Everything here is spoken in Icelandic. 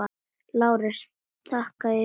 LÁRUS: Þakka yður fyrir.